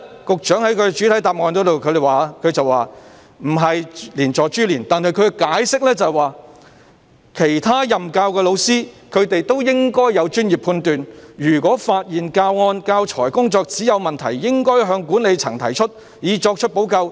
局長在主體答覆否認有關做法是連坐或株連，但他卻說："其他任教的教師，他們亦應有專業判斷，如果發現教案、教材和工作紙有問題，應向管理層提出，以作出補救。